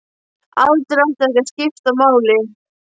Aldur átti ekki að skipta máli.